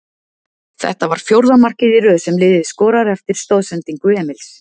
Þetta var fjórða markið í röð sem liðið skorar eftir stoðsendingu Emils.